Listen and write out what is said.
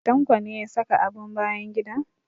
Tanko ne ya saka abin bayan gida?